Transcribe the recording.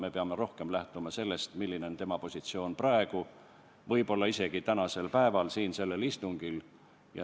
Me peame rohkem lähtuma sellest, milline on tema positsioon praegu, võib-olla isegi tänasel päeval, siin sellel istungil.